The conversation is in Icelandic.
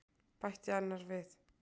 bætti annar við.